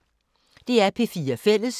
DR P4 Fælles